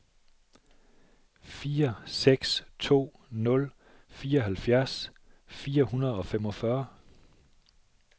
fire seks to nul fireoghalvfjerds fire hundrede og femogfyrre